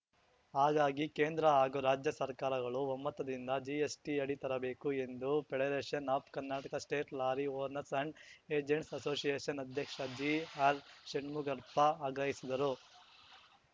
ಹಾಗಾಗಿ ಕೇಂದ್ರ ಹಾಗೂ ರಾಜ್ಯ ಸರ್ಕಾರಗಳು ಒಮ್ಮತದಿಂದ ಜಿಎಸ್‌ಟಿ ಅಡಿ ತರಬೇಕು ಎಂದು federation of Karnataka state lorry owners and agents association ಅಧ್ಯಕ್ಷ ಜಿಆರ್‌ಷಣ್ಮುಗಪ್ಪ ಆಗ್ರಹಿಸಿದರು